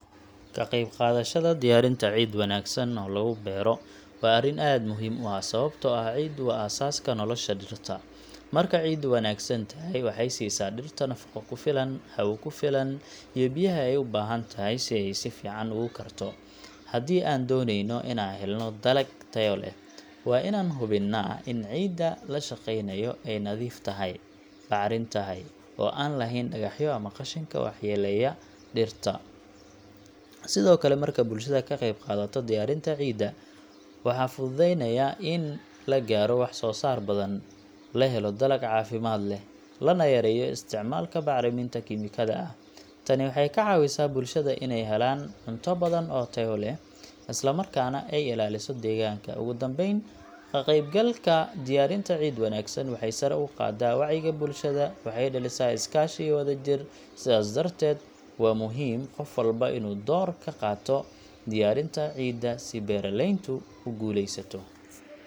Ka qaybqaadashada diyaarinta ciid wanaagsan oo lagu beero waa arrin aad muhiim u ah, sababtoo ah ciiddu waa aasaaska nolosha dhirta. Marka ciiddu wanaagsan tahay, waxay siisaa dhirta nafaqo ku filan, hawo ku filan, iyo biyaha ay u baahan tahay si ay si fiican ugu korto. Haddii aan dooneyno inaan helno dalag tayo leh, waa in aan hubinnaa in ciidda la shaqaynayo ay nadiif tahay, bacrin tahay, oo aan lahayn dhagaxyo ama qashinka waxyeellaya dhirta. Sidoo kale, marka bulshada ka qeyb qaadato diyaarinta ciidda, waxaa fududaanaya in la gaaro wax-soosaar badan, la helo dalag caafimaad leh, lana yareeyo isticmaalka bacriminta kiimikada ah. Tani waxay ka caawisaa bulshada inay helaan cunto badan oo tayo leh, isla markaana ay ilaaliso deegaanka. Ugu dambeyn, ka qaybgalka diyaarinta ciid wanaagsan waxay sare u qaadaa wacyiga bulshada, waxayna dhalisaa is-kaashi iyo wadajir. Sidaas darteed, waa muhiim qof walba inuu door ka qaato diyaarinta ciidda si beeraleyntu u guuleysato.